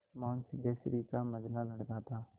मोहन सिद्धेश्वरी का मंझला लड़का था